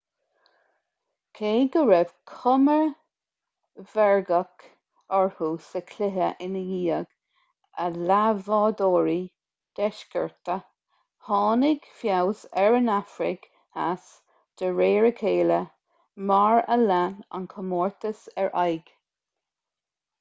cé go raibh cuma mheirgeach orthu sa chluiche i ndiaidh a leathbhádhóirí deisceartacha tháinig feabhas ar an afraic theas de réir a chéile mar a lean an comórtas ar aghaidh